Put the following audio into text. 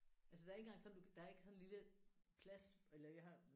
Altså der er ikke engang sådan du kan der er ikke sådan en lille plads eller jeg har